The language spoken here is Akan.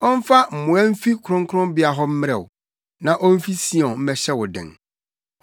Ɔmfa mmoa mfi kronkronbea hɔ mmrɛ wo, na omfi Sion mmɛhyɛ wo den.